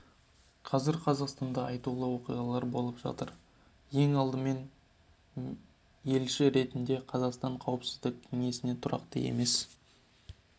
қазір қазақстанда айтулы оқиғалар болып жатыр ең алдымен мен елші ретінде қазақстанның қауіпсіздік кеңесіне тұрақты емес